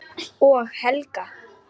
Og Helga.